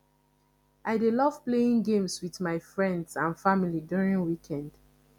i dey love playing games with my friends and family during weekend